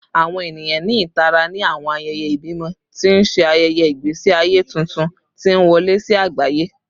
Awọn eniyan ni itara ni awọn ayẹyẹ ibimọ, ti n ṣe ayẹyẹ igbesi aye tuntun ti n wọle si agbaye